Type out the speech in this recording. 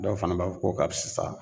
Dɔw fana b'a fɔ k'o ka fisa